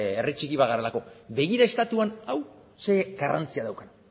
herri txiki bat garelako begira estatuan hau ze garrantzia daukan